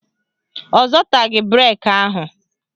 Ọ zọtaghị breki ahụ